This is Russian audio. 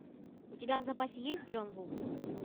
у тебя в запасе есть джон ву